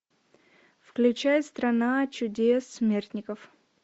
включай страна чудес смертников